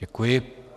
Děkuji.